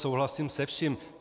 Souhlasím se vším.